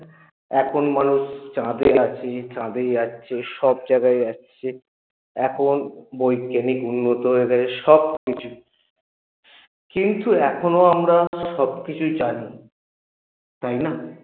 এখন মানুষ চাঁদে যাচ্ছে চাঁদে যাচ্ছে সব জায়গায় যাচ্ছে এখন বৈজ্ঞানিক উন্নত হয়ে গেছে সবকিছু কিন্তু এখনও আমরা সবকিছুই জানি তাই না?